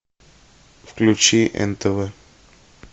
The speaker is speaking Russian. включи нтв